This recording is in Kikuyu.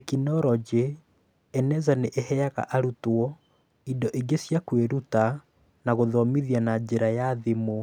Tekinoronjĩ: Eneza nĩ ĩheaga arutwo indo ingĩ cia kwĩruta na gũthoma na njĩra ya thimũ.